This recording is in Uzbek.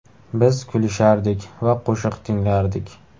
Biz kulishardik va qo‘shiq tinglardik.